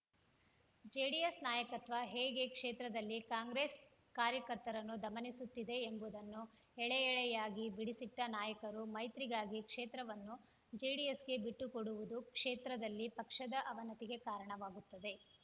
JDS ನಾಯಕತ್ವ ಹೇಗೆ ಕ್ಷೇತ್ರದಲ್ಲಿ ಕಾಂಗ್ರೆಸ್‌ ಕಾರ್ಯಕರ್ತರನ್ನು ದಮನಿಸುತ್ತಿದೆ ಎಂಬುದನ್ನು ಎಳೆಎಳೆಯಾಗಿ ಬಿಡಿಸಿಟ್ಟನಾಯಕರು ಮೈತ್ರಿಗಾಗಿ ಕ್ಷೇತ್ರವನ್ನು ಜೆಡಿಎಸ್‌ಗೆ ಬಿಟ್ಟುಕೊಡುವುದು ಕ್ಷೇತ್ರದಲ್ಲಿ ಪಕ್ಷದ ಅವನತಿಗೆ ಕಾರಣವಾಗುತ್ತದೆ